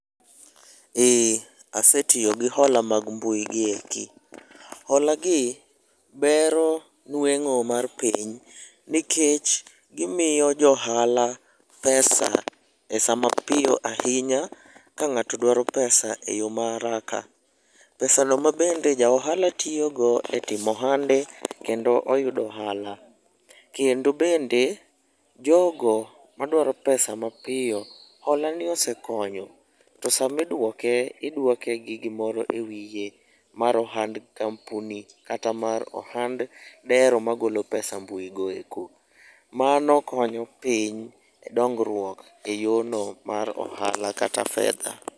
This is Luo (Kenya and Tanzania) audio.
Eee asetiyo gi hola mag mbui gi eki. Holagi bero nweng'o mar piny, nikech gimiyo joohala pesa e sama piyo ahinya ka ng'ato dwaro pesa e yo ma haraka. Pesano ma bende ja ohala tiyogo e timo ohande kendo oyudo ohala. Kendo bende jogo madwaro pesa mapiyo, holani osekonyo to samidwoke, idwoke gi gimoro e wiye mar ohand kampuni kata mar ohand dero magolo pesa mbuigo eko. Mano kenyo piny dongruok e yono mar ohala kata fedha.